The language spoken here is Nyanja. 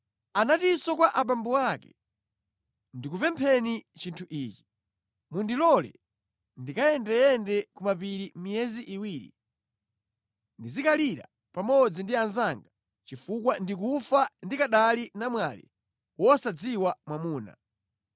Anatinso kwa abambo ake, “Ndikupempheni chinthu ichi: Mundilole ndikayendeyende ku mapiri miyezi iwiri ndizikalira pamodzi ndi anzanga chifukwa ndikufa ndikanali namwali wosadziwa mwamuna.”